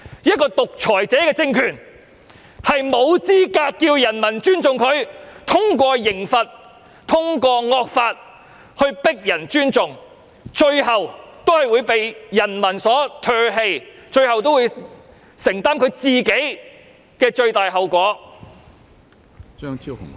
一個獨裁者的政權沒有資格要求人民尊重，通過刑罰及惡法強迫人民尊重，最終也會被人民唾棄，並須承擔最大的後果。